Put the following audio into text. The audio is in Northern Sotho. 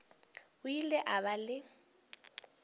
o ile a ba le